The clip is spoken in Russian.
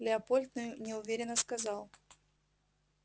лепольд неуверенно сказал